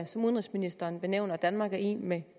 som udenrigsministeren nævner danmark er i med